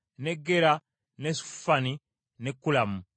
ne Gera, ne Sefufani ne Kulamu.